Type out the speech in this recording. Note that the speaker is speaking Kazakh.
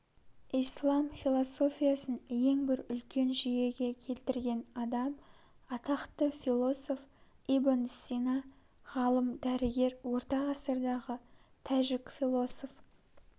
ислам философиясын ең бір үлкен жүйеге келтірген адам атақты философ ибн сина ғалым дәрігер орта ғасырдағы тәжік философ